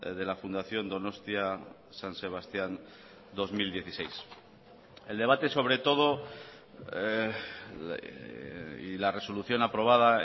de la fundación donostia san sebastián dos mil dieciséis el debate sobre todo y la resolución aprobada